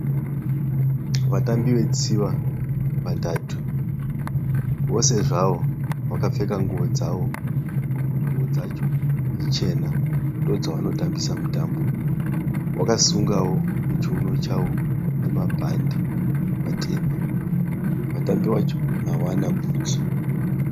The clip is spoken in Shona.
Vatambi vetsiva vatatu vose zvavo vakapfeka nguwo dzavo. Nguwo dzacho ichena ndodzavanotambisa mitambo yavo. Vakasungawo muchiuno chavo nemabhadhe matema. Vatambi vacho havana bhutsu.